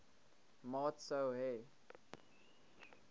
maat sou hê